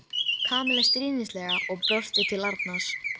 Kamilla stríðnislega og brosti til Arnars.